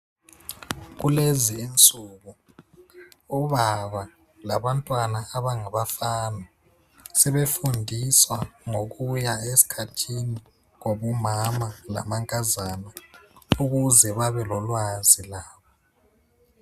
Kulezi insuku obaba labantwana abangabafana sebefundiswa ngokuya esikhathini kwabomama lamankazana ukuze babe lolwazi labo